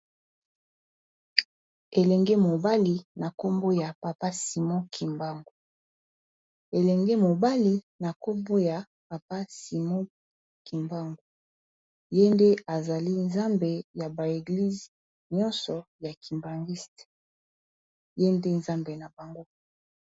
elenge mobali na koboya papa simo kimbangu ye nde ezali nzambe ya ba eglize nyonso ya kimbangiste ye nde nzambe na bango